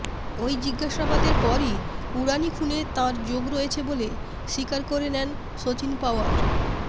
ওই জিজ্ঞাসাবাদের পরই উড়ানি খুনে তাঁর যোগ রয়েছে বলে স্বীকার করে নেন সচিন পাওয়ার